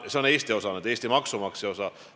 See on Eesti maksumaksja osa.